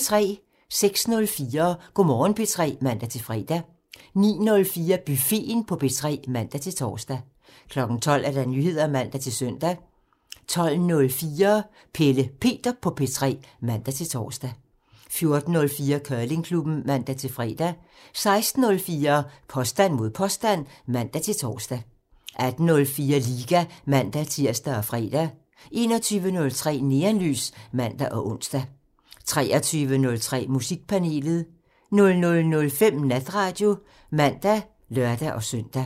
06:04: Go' Morgen P3 (man-fre) 09:04: Buffeten på P3 (man-tor) 12:00: Nyheder (man-søn) 12:04: Pelle Peter på P3 (man-tor) 14:04: Curlingklubben (man-fre) 16:04: Påstand mod påstand (man-tor) 18:04: Liga (man-tir og fre) 21:03: Neonlys (man og ons) 23:03: Musikpanelet 00:05: Natradio (man og lør-søn)